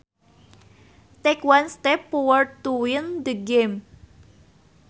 Take one step forward to win the game